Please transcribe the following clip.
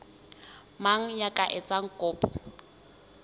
mang ya ka etsang kopo